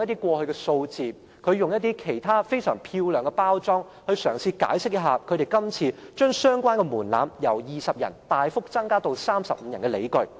他引用一些過去的數字，以非常漂亮的手法包裝，嘗試解釋為他們今次將相關門檻由20人大幅增加至35人的理據。